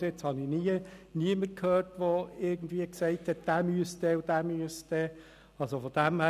Bis jetzt habe ich niemanden gehört, der gesagt hat, dieser oder jener müsse in den Ausstand treten.